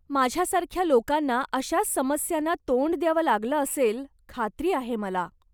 माझ्या सारख्या लोकांना अशाच समस्यांना तोंड द्यावं लागलं असेल, खात्री आहे मला.